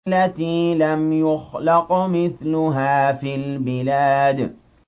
الَّتِي لَمْ يُخْلَقْ مِثْلُهَا فِي الْبِلَادِ